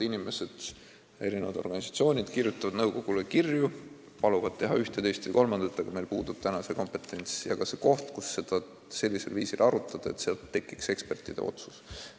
Inimesed ja organisatsioonid kirjutavad nõukogule kirju ning paluvad teha ühte, teist ja kolmandat, aga meil puudub kompetents ja ka koht, kus saaks seda sellisel viisil arutada, et tekiks ekspertide otsus.